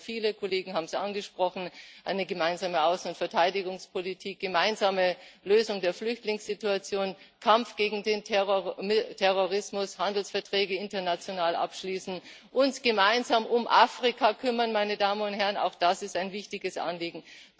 Davon haben wir viele Kollegen haben es angesprochen gemeinsame Außen und Verteidigungspolitik, gemeinsame Lösung der Flüchtlingssituation, Kampf gegen den Terrorismus, Handelsverträge international abschließen, uns gemeinsam um Afrika kümmern auch das ist ein wichtiges Anliegen.